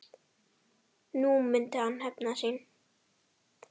Nú myndi hann hefna sín.